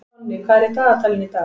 Tonni, hvað er í dagatalinu í dag?